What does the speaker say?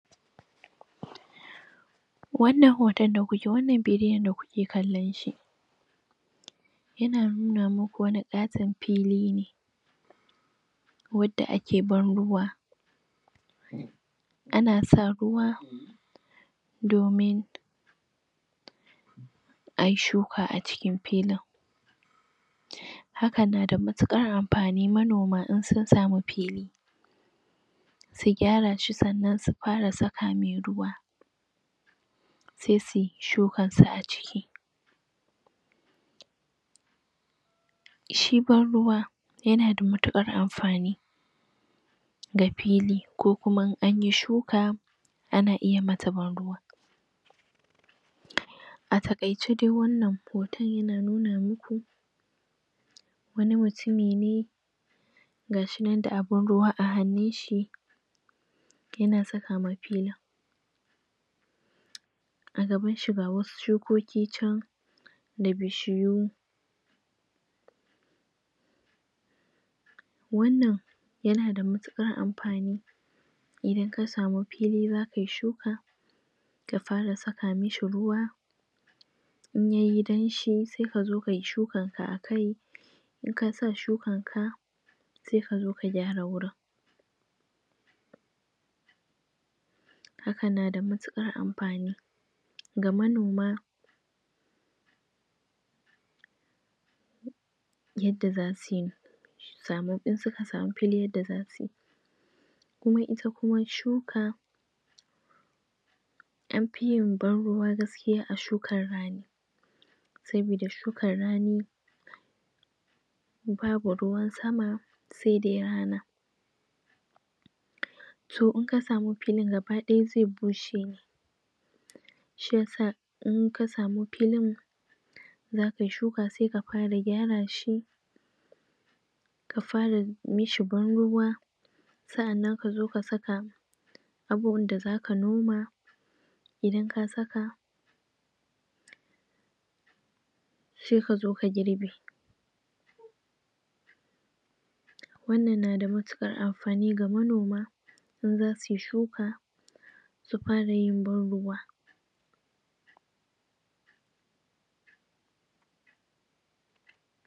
wannnan hoton wannan bidiyon da kuke ganinshi yana nuna muku wani ƙaton fili ne wanda ake ban ruwa ana sa ruwa domin ayi shuka acikin filin hakan nada matukar amfani manoma idan sun sami fili su gyara shi sannan su fara saka mishi ruwa sai suyi shukar su aciki shi banruwa yana da matukar amfani ga fili ko kuma in anyi shuka ana iya mata ban ruwa a takaice de wannan hoton yana nuna muku wani mutumi ne gashi nan da abun ruwa a hannunshi yana sakawa filin agabanshi ga wasu shukoki can da bishiyu wannan yana da matukar amfani idan kasami fili zakayi shuka ka fara saka mishi ruwa in yayi damshi sai kazo kayi shukan ka akai in kasa shukan ka sai kazo ka gyara wurin hakan na da matukar amfani ga manoma yadda zasuyi su sami insuka fili yadda zasuyi kuma ita kuwa shuka anfiyin banruwa a shukar rani saboda shukar rani babu ruwan sama sai dai rana toh in kasami filin gabaya zai bushe ne shiya sa in kasa mi filin zakayi shuka sai ka fara gyara shi ka fara mishi banruwa sa'annan kazo kasa abun da zaka noma idan ka saka sai kazo ka girbe wannan na da matukar amfani ga manoma in zasuyi shuka su fara yin ban ruwa